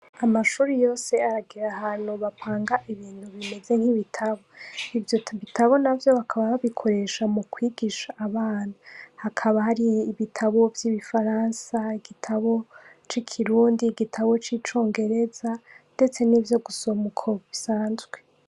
Amashure yose aragira ahantu bapanga ibintu bimeze nkibitabo ivyobitabo navyo bakaba babikoresha mukwigisha abana hakaba hari ibitabo vyibifaransa igitabo cikirundi igitabo cicongereza ndetse nivyo gusoma uko bisanzwe.